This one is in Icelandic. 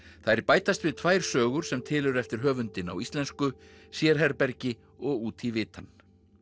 þær bætast við tvær sögur sem til eru eftir höfundinn á íslensku sérherbergi og út í vitann